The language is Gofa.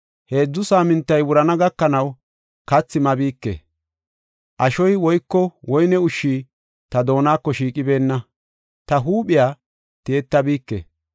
Heedzu saamintay wurana gakanaw kathi mabike; ashoy woyko woyne ushshi ta doonako shiiqibenna; ta huuphiya tiyettabike